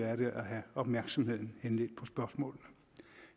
er det at have opmærksomheden henledt på spørgsmålet